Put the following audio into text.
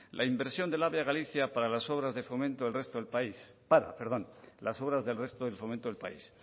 la inversión del ave a galicia para las obras del resto del fomento del país